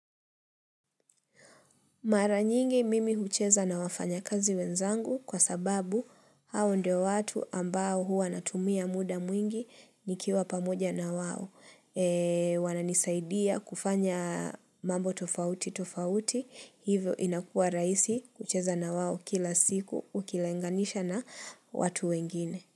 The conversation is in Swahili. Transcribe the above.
Mara nyingi mimi hucheza na wafanya kazi wenzangu kwa sababu hao ndio watu ambao huwa natumia muda mwingi nikiwa pamoja na wawo. Wananisaidia kufanya mambo tofauti tofauti. Hivyo inakua rahisi kucheza na wao kila siku ukileganisha na watu wengine.